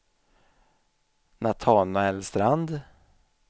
Natanael Strand